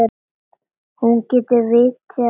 Hún geti vitjað grafar hans.